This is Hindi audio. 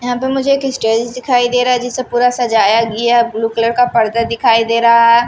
यहां पर मुझे एक स्टेज दिखाई दे रहा है जिसे पूरा सजाया गया ब्लू कलर का पर्दा दिखाई दे रहा है ।